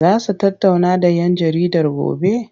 Za su tattauna da 'yan jaridar gobe?